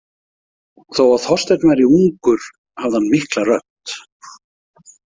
Þó að Þorsteinn væri ungur hafði hann mikla rödd.